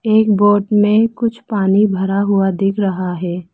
एक बोट में कुछ पानी भरा हुआ दिख रहा है।